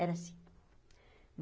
Era assim.